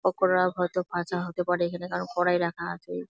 পকোরা হয়তো ভাজা হতে পারে এখানে কারণ কড়াই রাখা আছে ।